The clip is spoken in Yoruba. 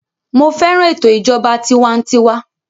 Mo fẹ́ràn ètò ìjọba tiwantiwa